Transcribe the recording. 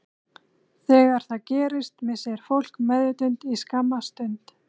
Þegar það gerist missir fólk meðvitund í skamma stund.